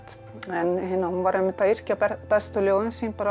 en hún var einmitt að yrkja bestu ljóðin sín